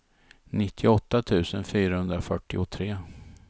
nittioåtta tusen fyrahundrafyrtiotre